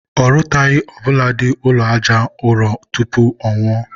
ọ rụtaghị ọbụladị ụlọ aja ụrọ tupu ọnwụọ